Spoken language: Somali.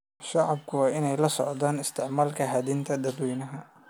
Shacabku waa inay la socdaan isticmaalka hantida dadweynaha.